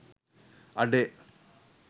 අඩේ